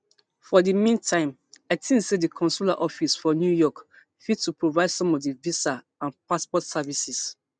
for di meantime i tink say di consular office for new york fit to provide some of di visa and passport services